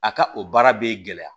A ka o baara bɛ gɛlɛya